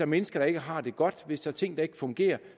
mennesker der ikke har det godt hvis der er ting der ikke fungerer